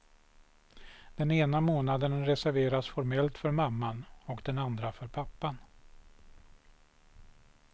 Den ena månaden reserveras formellt för mamman och den andra för pappan.